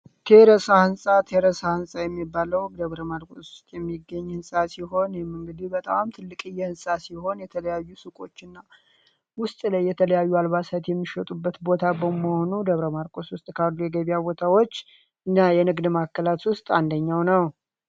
ቴሬሳ ህንፃ የሚባለው ደብረማርቆስ የሚገኘው ሲሆን በጣም ትልቅ ህንፃ ሲሆን የተለያዩ ሱቆችና የተለያዩ አልባሳት የሚሸጡበት ቦታ በመሆኑ ደብረማርቆስ ውስጥ ካሉ የገበያ ቦታዎች እና የንግድ ማዕከላት ውስጥ አንደኛው ነው።